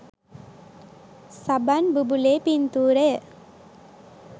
සබන් බුබුලේ පින්තූරය.